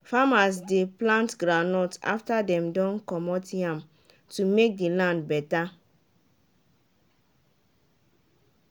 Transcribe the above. farmers de plant goundnut after dem don commot yam to make the land better